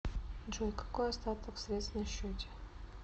джой какой остаток средств на счете